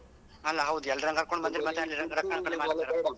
ಅಲಾ ಹೌದು ಎಲ್ರ ಕರ್ಕೊಂಡ್ ಬಂದ್ರೆ ಮತ್ತೆ .